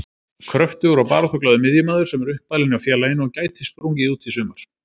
Kröftugur og baráttuglaður miðjumaður sem er uppalinn hjá félaginu og gæti sprungið út í sumar.